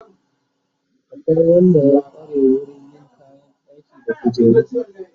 Akwai Wanda ya kware wurin yin kayan ɗaki da kujeru